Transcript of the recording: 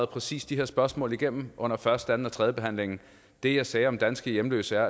præcis de her spørgsmål igennem under første anden og tredjebehandlingen det jeg sagde om danske hjemløse